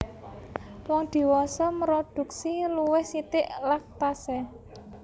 Wong dhiwasa mrodhuksi luwih sithik lactase